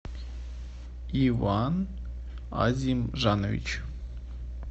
иван азимжанович